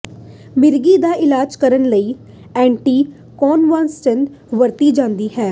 ਮਿਰਗੀ ਦਾ ਇਲਾਜ ਕਰਨ ਲਈ ਐਂਟੀਕੋਨਵਲਾਂਟਸ ਵਰਤਿਆ ਜਾਂਦਾ ਸੀ